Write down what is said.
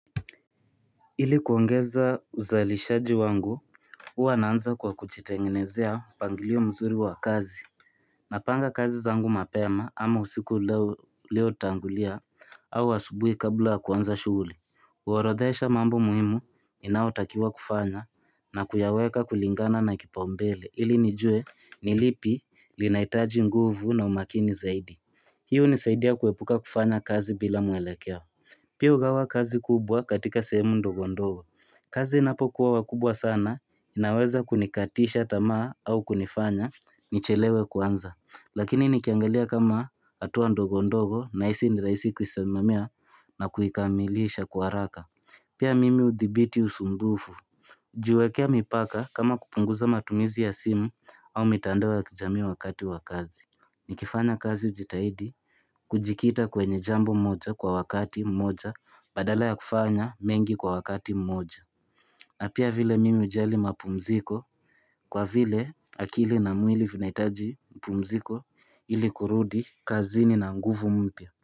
Ili kuongeza uzalishaji wangu, huwa naanza kwa kujitengenezea mpangilio mzuri wa kazi. Napanga kazi zangu mapema ama usiku ulio tangulia au asubuhi kabla ya kuanza shughuli. Huorodhesha mambo muhimu, inayotakiwa kufanywa na kuyaweka kulingana na kipaumbele. Ili nijue ni lipi linahitaji nguvu na umakini zaidi. Hii hunisaidia kuepuka kufanya kazi bila mwelekeo. Pia hugawa kazi kubwa katika sehemu ndogo ndogo. Kazi inapo kuwa wakubwa sana, inaweza kunikatisha tamaa au kunifanya nichelewe kuanza. Lakini nikiangalia kama hatua ndogo ndogo, nahisi ni rahisi kuisememea na kuikamilisha kwa haraka. Pia mimi hudhibiti usumbufu. Hujiwekea mipaka kama kupunguza matumizi ya simu au mitandao ya kijamii wakati wa kazi. Nikifanya kazi hujitahidi kujikita kwenye jambo moja kwa wakati mmoja badala ya kufanya mengi kwa wakati mmoja na pia vile mimi hujali mapumziko kwa vile akili na mwili vinahitaji mapumziko ili kurudi kazini na nguvu mpya.